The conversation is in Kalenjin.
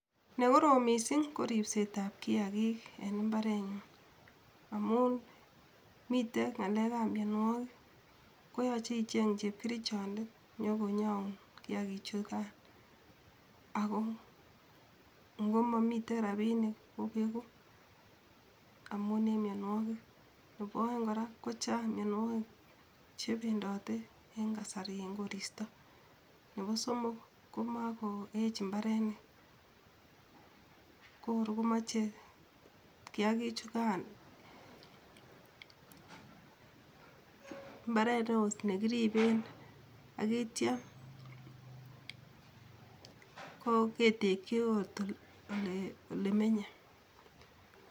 Ne korom missing ko ripsetab kiagiik en imbarenyun amun mitei ngalekab mianwogik koyoche icheng chepkerichondet nyokonyoun kiagiichukan ako ngomomitei rabiinik kobegu amun en mionwogik, nebo oeng kora ko chaang miaonwogik chebendote en kasari en koristo nebo somok ko makoech mbarenik kor komoche kiakichukan mbaret ne oo ne kiriiben ak yeityo ketekyi oot olemenye